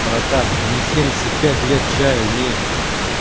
братан не семьдесят пять лет чаю не